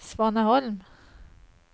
Svaneholm